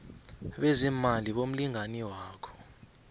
bezeemali bomlingani wakho